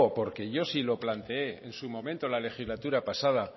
porque yo sí lo planteé en su momento en la legislatura pasada